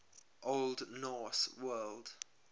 old norse word